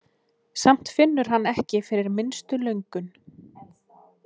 Samt finnur hann ekki fyrir minnstu löngun.